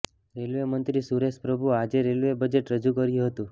railway મંત્રી સુરેશ પ્રભુ આજે railway budget રજુ કર્યું હતું